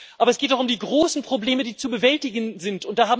Aber es geht doch um die großen Probleme, die zu bewältigen sind.